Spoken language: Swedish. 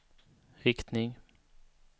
riktning